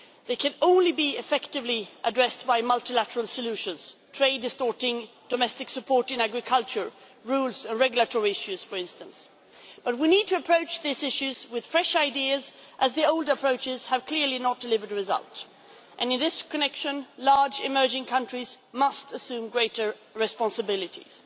They can only be effectively addressed by multilateral solutions trade distorting domestic support in agriculture, rules or regulatory issues, for instance but we need to approach these issues with fresh ideas, as the old approaches have clearly not delivered the result, and in this connection large emerging countries must assume greater responsibilities.